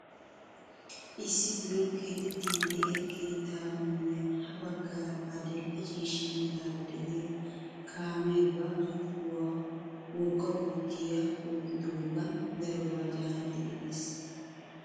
Issi biron keexettiidi de'iyaa keettaa miyiyaan ha baggaara adil'e ciishsha meraara de'iyaa kaamee ba zokkuwaan wogga bottiyaa oyqqidoogan darobaa caanidi epees!